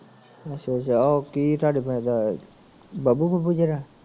ਅਸ਼ਿਆ ਅੱਸ਼ਾ ਓ ਕੀ ਧਾਡੇ ਪਿੰਡ ਦਾ